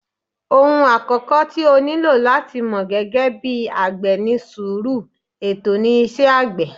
Òhun àkọ́kọ́ tí o nílò láti mọ̀ gẹ́gẹ́ bí àgbẹ̀ ni sùúrù, ètò ni iṣẹ́ àgbẹ̀.